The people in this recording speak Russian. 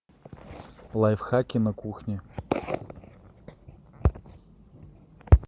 лайфхаки на кухне